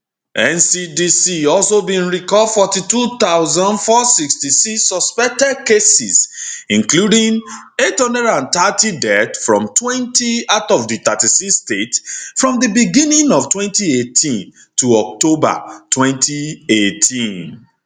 ncdc also bin record 42466 suspected cases including 830 deaths fromtwentyout of di 36 states from di beginning of 2018 to october 2018